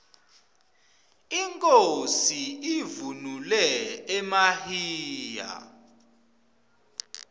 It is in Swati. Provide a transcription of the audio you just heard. inkhosi ivunule emahiya